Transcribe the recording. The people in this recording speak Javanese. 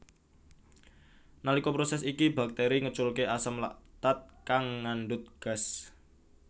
Nalika proses iki bakteri ngeculke asam laktat kang ngandhut gas